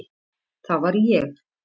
Það var ég.